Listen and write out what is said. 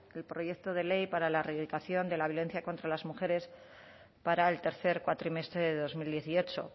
el proyecto de ley para la reeducación de la violencia contra las mujeres para el tercer cuatrimestre de dos mil dieciocho